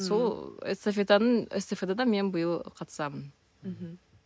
сол эстафетаның эстафетада мен биыл қатысамын мхм